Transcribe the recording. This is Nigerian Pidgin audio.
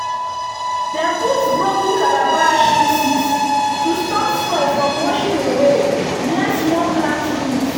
dem put broken calabash pieces to stop soil from washing away near small plant roots.